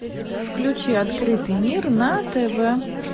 включи открытый мир на тв